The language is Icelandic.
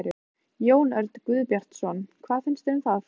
Jón Örn Guðbjartsson: Hvað finnst þér um það?